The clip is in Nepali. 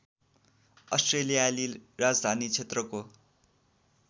अस्ट्रेलियाली राजधानी क्षेत्रको